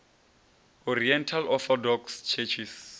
oriental orthodox churches